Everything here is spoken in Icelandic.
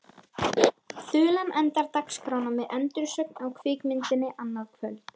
Þulan endar dagskrána með endursögn á kvikmyndinni annað kvöld.